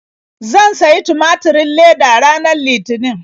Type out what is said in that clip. Zan sayi tumaturin leda ranar Litinin.